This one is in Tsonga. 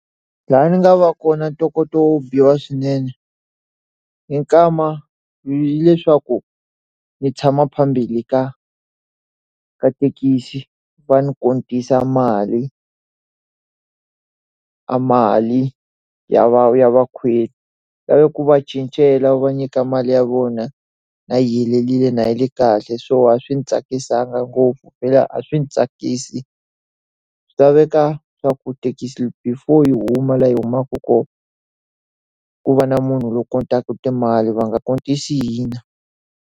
Laha ndzi nga va kona ntokoto wo biha swinene, hi nkama hileswaku ni tshama phambili ka ka thekisi, va ni mali a mali ya ya vakhweli. Ndzi lave ku va cincela wu va nyika mali ya vona yi helerile yi ri kahle. So wa swi ndzi tsakisaka ngopfu a swi ndzi tsakisi. Swi laveka swa ku thekisi before u huma laha yi humaka kona, ku va na munhu loyi a timali va nga hina.